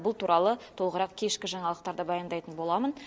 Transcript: бұл туралы толығырақ кешкі жаңалықтарда баяндайтын боламын